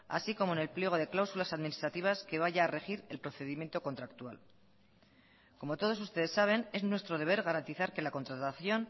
así como en el pliego de cláusulas administrativas que vaya a regir el procedimiento contractual como todos ustedes saben es nuestro deber garantizar que la contratación